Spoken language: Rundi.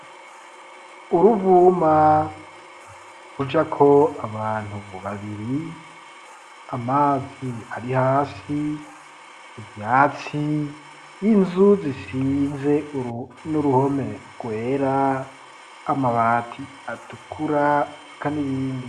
Uruvuma rujako abantu babiri ,amazi ari hasi, ivyatsi ,n'inzu zisize n'uruhome rwera amabati atukura eka n'ibindi.